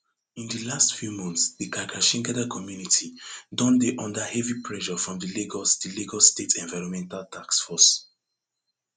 in di last few months di karkashin gada community don dey under heavy pressure from di lagos di lagos state environmental task force